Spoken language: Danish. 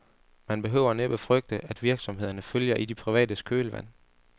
Man behøver næppe frygte, at virksomhederne følger i de privates kølvand.